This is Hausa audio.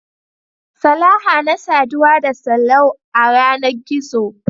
Salaha na saduwa da Sallau a yanar gizo.